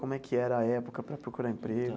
Como é que era a época para procurar emprego?